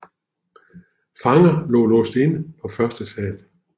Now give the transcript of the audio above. Fanger blev låst inde på første sal